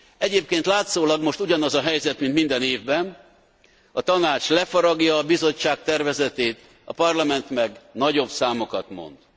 Egyébként látszólag most ugyanaz a helyzet, mint minden évben a Tanács lefaragja a Bizottság tervezetét, a Parlament meg nagyobb számokat mond.